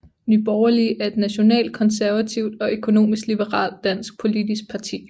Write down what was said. Nye Borgerlige er et nationalkonservativt og økonomisk liberalt dansk politisk parti